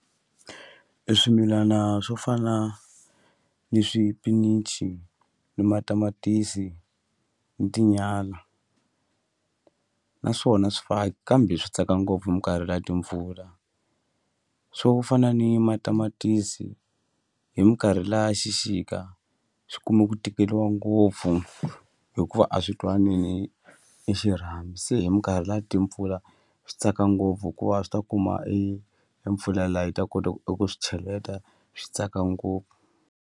E swimilana swo fana ni swipinichi ni matamatisi ni tinyala naswona swifaki kambe swi tsaka ngopfu hi minkarhi liya timpfula swo fana ni matamatisi hi minkarhi liya xixika swi kume ku tikeriwa ngopfu hikuva a swi twani ni ni xirhami se hi minkarhi ya timpfula swi tsaka ngopfu hikuva swi ta kuma e e mpfula liya yi ta kota eku swi cheleta swi tsaka ngopfu.